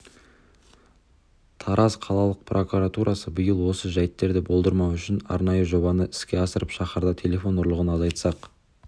тараз қалалық прокуратурасы биыл осы жәйттерді болдырмау үшін арнайы жобаны іске асырып шаһарда телефон ұрлығын азайтсақ